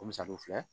Ko musa de filɛ